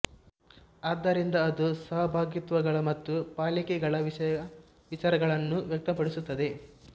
ಆದ್ದರಿಂದ ಅದು ಸಹಭಾಗಿತ್ವಗಳ ಮತ್ತು ಪಾಲಿಕೆಗಳ ವಿಷಯ ವಿಚಾರಗಳನ್ನು ವ್ಯಕ್ತಪಡಿಸುತ್ತದೆ